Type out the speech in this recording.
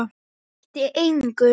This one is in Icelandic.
Það breytti engu.